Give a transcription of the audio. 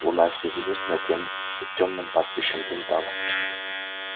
луна средь звёзд над тёмным пастбищем блуждала